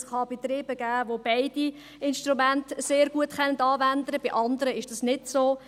Es gibt Betriebe, welche beide Instrumente sehr gut anwenden können, bei anderen ist es nicht so.